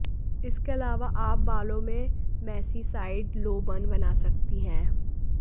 इसके अलावा आप बालों में मेसी साइड लो बन बना सकती हैं